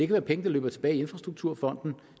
være penge der løber tilbage i infrastrukturfonden